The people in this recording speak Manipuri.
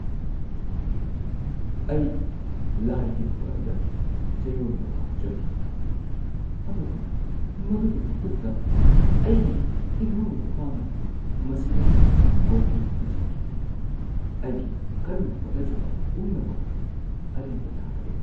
ꯑꯩ ꯂꯥꯏ ꯌꯦꯛꯄ ꯑꯗꯨꯗ ꯆꯌꯣꯜ ꯵ ꯆꯪꯈꯤ ꯑꯗꯨꯕꯨ ꯃꯗꯨꯒꯤ ꯃꯇꯨꯡꯗ ꯑꯩꯒꯤ ꯏꯅꯥꯎꯅꯨꯄꯥꯅ ꯃꯁꯤꯗ ꯀꯣꯐꯤ ꯍꯩꯖꯤꯟꯈꯤ꯫ ꯑꯩꯒꯤ ꯀꯟꯅ ꯍꯣꯠꯅꯖꯕ ꯄꯨꯝꯅꯃꯛ ꯑꯔꯦꯝꯕ ꯇꯥꯈ꯭ꯔꯦ꯫